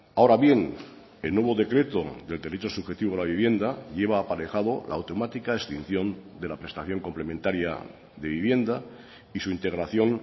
ahora bien el nuevo decreto del derecho subjetivo a la vivienda lleva aparejado la automática extinción de la prestación complementaria de vivienda y su integración